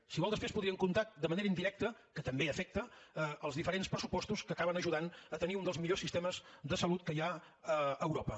si vol després podríem comptar de manera indirecta que també afecta els diferents pressupostos que acaben ajudant a tenir un dels millors sistemes de salut que hi ha a europa